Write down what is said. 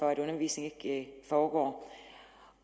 at undervisningen ikke foregår